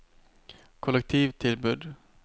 kollektivtilbud